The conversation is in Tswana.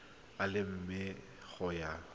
a le mane go ya